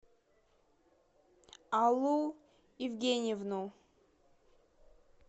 аллу евгеньевну